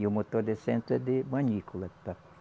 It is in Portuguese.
E o motor de centro é de manícula.